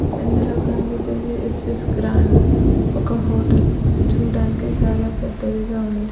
ఇందులో కనిపిచ్చేది S S grand ఒక హాోటల్ చూడ్డానికి చాలా పెద్దదిగా ఉంది.